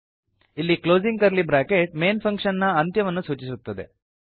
ಇಲ್ಲಿ closing curly bracket main function ನ ಅಂತ್ಯವನ್ನು ಸೂಚಿಸುತ್ತದೆ